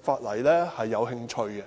法例有興趣。